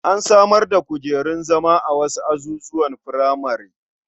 An samar da kujerun zama a wasu azuzuwan furamare.